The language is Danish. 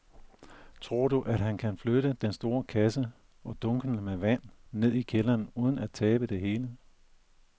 Tror du, at han kan flytte den store kasse og dunkene med vand ned i kælderen uden at tabe det hele?